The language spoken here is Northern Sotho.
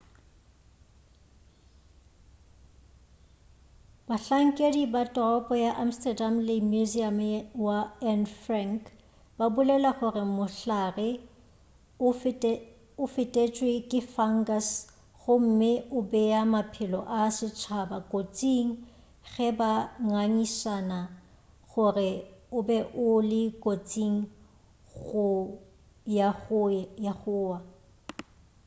bahlankedi ba toropo ya amsterdam le museum wa anne frank ba bolela gore mohlare o fetetšwe ke fungus gomme o bea maphelo a setšhaba kotsing ge ba ngangišana gore o be o le kotsing ya go wa